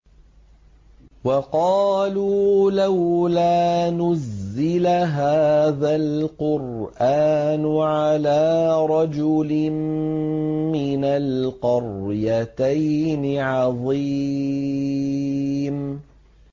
وَقَالُوا لَوْلَا نُزِّلَ هَٰذَا الْقُرْآنُ عَلَىٰ رَجُلٍ مِّنَ الْقَرْيَتَيْنِ عَظِيمٍ